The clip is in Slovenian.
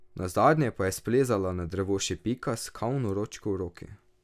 Nazadnje pa je splezala na drevo še Pika s kavno ročko v roki.